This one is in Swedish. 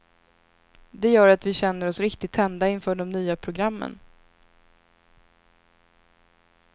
Det gör att vi känner oss riktigt tända inför de nya programmen.